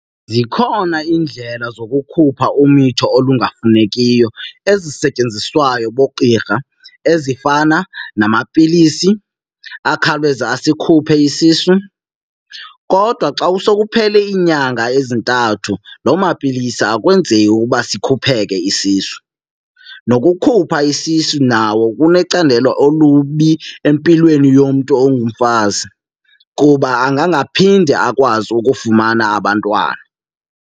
Zikhona iindlela zokukhupha umitho olungafunekiyo ezisetyenziswayo boogqirha ezifana namapilisi akhawuleza asikhuphe isisu. Kodwa xa kusokuphele iinyanga ezintathu loo mapilisi akwenzeki ukuba sikhupheke isisu. Nokukhupha isisu nawo kunecandelo olubi empilweni yomntu ongumfazi kuba angangaphinde akwazi ukufumana abantwana.